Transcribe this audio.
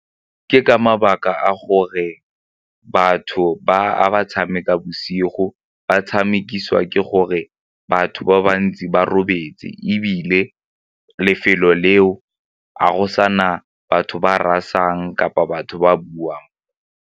Ke ka mabaka a gore batho ba a tshameka bosigo ba tshamekisiwa ke gore batho ba bantsi ba robetse ebile lefelo leo a go sana batho ba rasang kapa batho ba buang.